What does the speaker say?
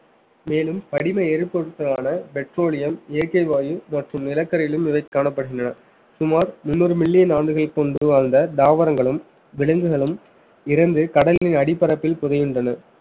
மேலும் படிம எரிபொருட்களான petroleum இயற்கை வாயு மற்றும் நிலக்கரியிலும் இவை காணப்படுகின்றன சுமார் முன்னூறு மில்லியன் ஆண்டுகள் கொண்டு வாழ்ந்த தாவரங்களும் விலங்குகளும் இறந்து கடலின் அடிப்பரப்பில் புதையுண்டன